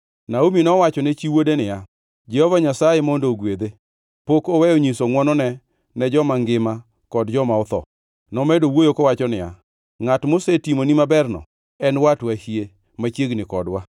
Naomi nowachone chi wuode niya, “Jehova Nyasaye mondo ogwedhe. Pok oweyo nyiso ngʼwonone ne joma ngima kod joma otho.” Nomedo wuoyo kowacho niya, “Ngʼat mosetimoni maberno en watwa hie, machiegni kodwa.”